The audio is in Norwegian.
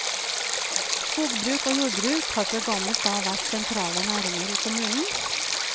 Skogbruk og jordbruk har fra gammelt av vært sentrale næringer i kommunen.